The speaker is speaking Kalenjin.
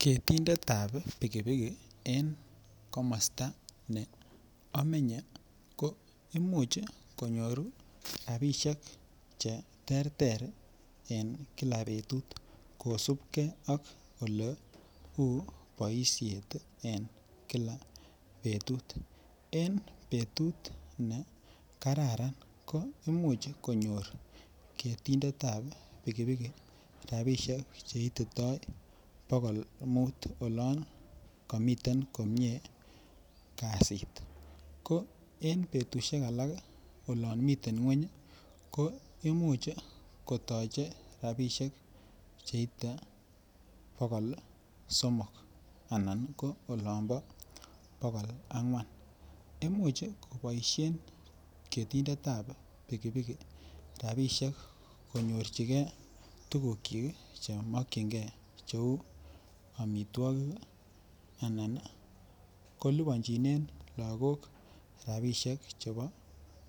Ketindetab pikipiki en komosto nee omenye ko imuch konyoru rabishek cheterter en kila betut kosipke ak oleu boishet en kila betut, en betut nee kararan ko imuch konyor ketindetab pikipiki rabishek cheitito bokol muut oloon komiten komie kasit, ko en betushek alak ko imuch kotoche rabishek cheite bokol somok ananko olon bo bokol angwan, imuch koboishen ketindetab pikipiki konyorchike tukukyik chemokying'e cheuu amitwokik anan koliponchinen lokok orabishek chebo